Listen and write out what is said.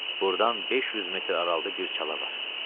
Burdan 500 metr aralıqda bir çala var.